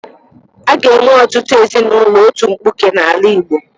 A ga-enwe ọtụtụ ezinaụlọ otu mkpuke n'ala Igbo.